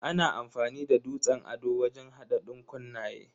Ana amfani da dutsen ado wajen hada dankunnaye.